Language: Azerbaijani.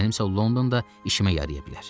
Mənsə Londonda işimə yaraya bilər.